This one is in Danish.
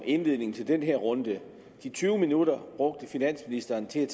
indledning til den her runde de tyve minutter brugte finansministeren til